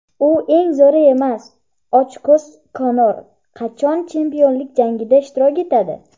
U eng zo‘ri emas — "Ochko‘z Konor" qachon chempionlik jangida ishtirok etadi?.